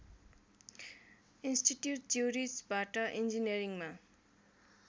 institute ज्युरिचबाट इन्जिनियरिङमा